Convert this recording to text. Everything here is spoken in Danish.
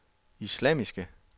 islamiske